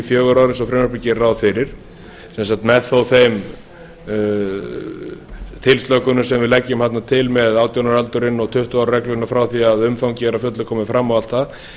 ár eins og frumvarpið gerir ráð fyrir sem sagt með þó þeim tilslökunum sem við leggjum þarna til með átján ára aldurinn og tuttugu ára regluna frá því að umfangið er að fullu komið fram og allt það